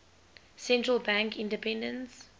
central bank independence